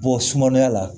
Bɔ sumaya la